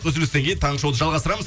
үзілістен кейін таңғы шоуды жалғастырамыз